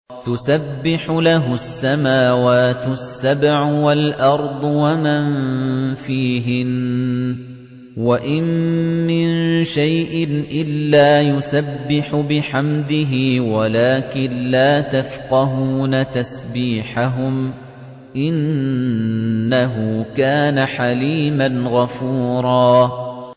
تُسَبِّحُ لَهُ السَّمَاوَاتُ السَّبْعُ وَالْأَرْضُ وَمَن فِيهِنَّ ۚ وَإِن مِّن شَيْءٍ إِلَّا يُسَبِّحُ بِحَمْدِهِ وَلَٰكِن لَّا تَفْقَهُونَ تَسْبِيحَهُمْ ۗ إِنَّهُ كَانَ حَلِيمًا غَفُورًا